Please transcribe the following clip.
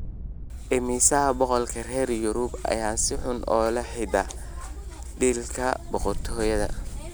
Immisa boqolkiiba reer Yurub ah ayaa si uun ula xidhiidha dhiigga boqortooyada